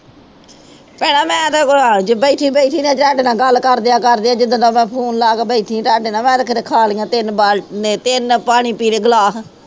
ਭੈਣਾ ਮੈਂ ਤੇ ਅੱਜ ਬੈਠੀ ਬੈਠੀ ਨੇ ਜੰਗ ਨਾਲ ਗੱਲ ਕਰਦਿਆਂ ਕਰਦਿਆਂ ਜਿੱਦਾਂ ਦਾ ਮੈਂ ਫ਼ੋਨ ਲਾ ਕੇ ਬੈਠੀ ਜੰਗ ਨਾਲ ਮੈਂ ਤੇ ਕਿਤੇ ਖਾ ਲਈਆਂ ਤਿੰਨ ਬਾ ਮੈਂ ਤਿੰਨ ਪਾਣੀ ਪੀ ਲਏ ਗਲਾਸ